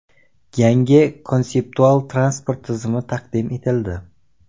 Yangi konseptual transport tizimi taqdim etildi .